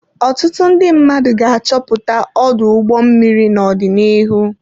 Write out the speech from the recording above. Ọtụtụ ndị mmadụ ga-achọpụta ọdụ ụgbọ mmiri n'ọdịnihu.